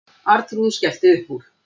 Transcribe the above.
Arnþrúður skellti upp úr.